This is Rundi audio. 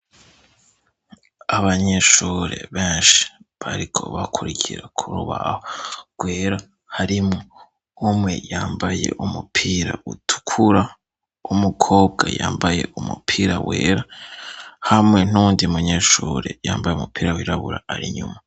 Abanyeshure benshi bariko bakurikira ku rubaho rwera harimo umwe yambaye umupira utukura w'umukobwa yambaye umupira wera hamwe n'uwundi munyeshure yambaye umupira wirabura ari inyuma.